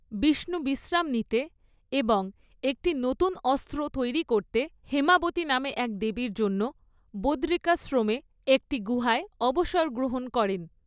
বিষ্ণু বিশ্রাম নিতে এবং একটি নতুন অস্ত্র তৈরি করতে হ্যেমাবতি নামের এক দেবীর জন্য বদরিকাশ্রমের একটি গুহায় অবসর গ্রহণ করেন।